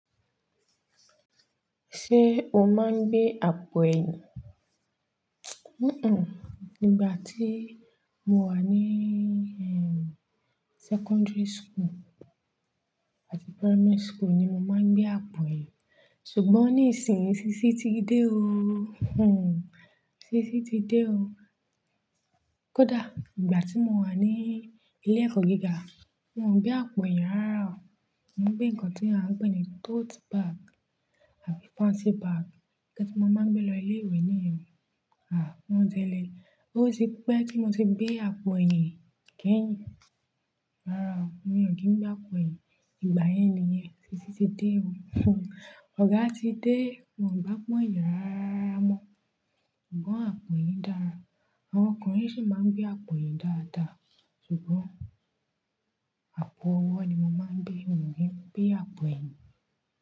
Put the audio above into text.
Ṣé o máa ń gbé àpò ẹ̀yìn? Nn, nígbà tí mo wà ní secondary school àti primary school ni mo máa ń gbé àpò ẹ̀yìn. Ṣùgbọ́n ní ìsìn, ṣíṣí ti dé o. Hmm, ṣíṣí ti dé o. Kódà ìgbà tí mo wà ní ilé ẹ̀kọ́ gíga, mo ò gbé àpò ẹ̀yìn rárá o. Mo gbé nǹkan tí a ń pè ní tote bag àbi fancy bag. Nǹkan tí mo máa ń gbé lọ ilé ìwé ní yan o. À, wọ́n jẹ lẹ́lẹ́. Ó ti pẹ́ tí mo ti gbé àpò ẹ̀yìn. Kẹ́yìn? Rárá o, mo yàn kí n gbé àpò ẹ̀yìn. Ìgbà yẹn nìyẹn ṣíṣí ti dé o. Hmm, ọ̀gá ti dé. Wọn ò gbe á pọ̀n ẹ̀yìn rárá mọ́. Wọ́n àpò ẹ̀yìn dára. Àwọn ọkùnrin sì máa ń gbé àpò ẹ̀yìn dáadáa. Ṣùgbọ́n àpò ọwọ́ ni mo máa ń gbé. Mo ò kí n gbé àpò ẹ̀yìn.